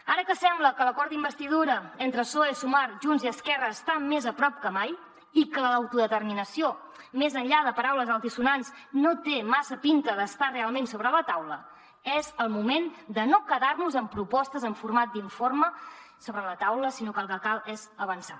ara que sembla que l’acord d’investidura entre psoe sumar junts i esquerra està més a prop que mai i que l’autodeterminació més enllà de paraules altisonants no té massa pinta d’estar realment sobre la taula és el moment de no quedar nos en propostes en format d’informe sobre la taula sinó que el que cal és avançar